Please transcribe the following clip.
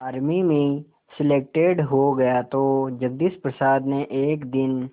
army में selected हो गया तो जगदीश प्रसाद ने एक दिन